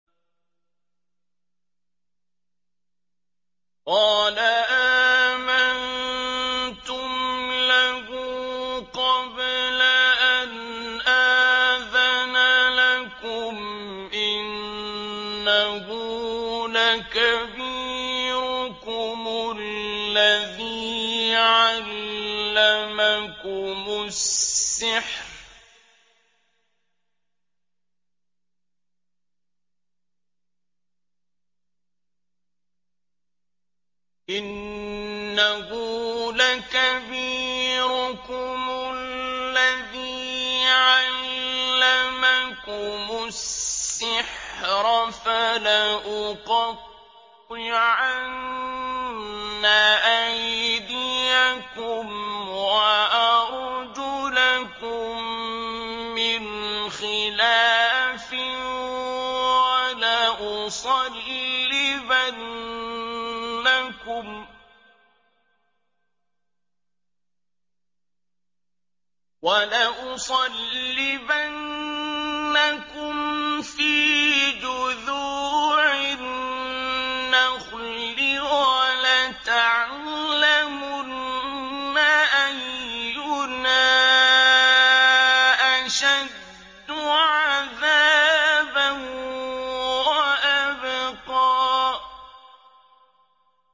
قَالَ آمَنتُمْ لَهُ قَبْلَ أَنْ آذَنَ لَكُمْ ۖ إِنَّهُ لَكَبِيرُكُمُ الَّذِي عَلَّمَكُمُ السِّحْرَ ۖ فَلَأُقَطِّعَنَّ أَيْدِيَكُمْ وَأَرْجُلَكُم مِّنْ خِلَافٍ وَلَأُصَلِّبَنَّكُمْ فِي جُذُوعِ النَّخْلِ وَلَتَعْلَمُنَّ أَيُّنَا أَشَدُّ عَذَابًا وَأَبْقَىٰ